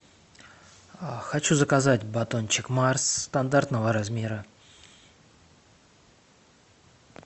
хочу заказать батончик марс стандартного размера